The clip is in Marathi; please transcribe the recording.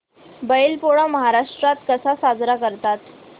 बैल पोळा महाराष्ट्रात कसा साजरा करतात